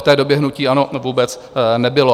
V té době hnutí ANO vůbec nebylo.